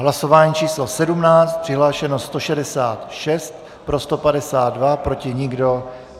Hlasování číslo 17, přihlášeno 166, pro 152, proti nikdo.